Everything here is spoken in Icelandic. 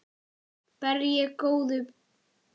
Ber ég góða bita.